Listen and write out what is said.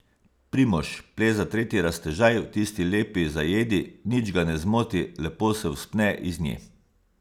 Primož pleza tretji raztežaj v tisti lepi zajedi, nič ga ne zmoti, lepo se vzpne iz nje.